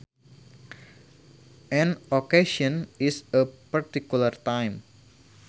An occasion is a particular time